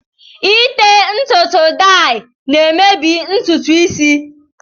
Ite ntutu dayi na-emebi ntutu isi